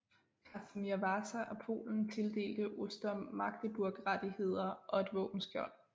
Kasimir Vasa af Polen tildelte Oster Magdeburgrettigheder og et våbenskjold